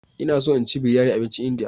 Ina so in ci biryani abincin Indiya.